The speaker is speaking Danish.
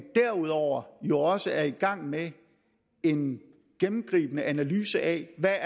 derudover jo også er i gang med en gennemgribende analyse af hvad